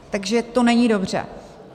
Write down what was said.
Takže to není dobře.